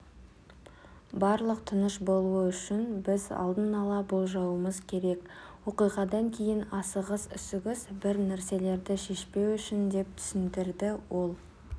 барлық тыныш болуы үшін біз алдын ала болжауымыз керек оқиғадан кейін асығыс-үсігіс бір нәрселерді шешпеу үшін деп түсіндірді ол